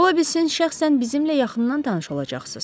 Ola bilsin şəxsən bizimlə yaxından tanış olacaqsız.